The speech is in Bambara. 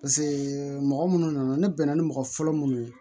mɔgɔ munnu nana ne bɛnna ni mɔgɔ fɔlɔ munnu ye